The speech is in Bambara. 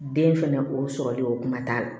Den fɛnɛ o sɔrɔlen o kuma t'a la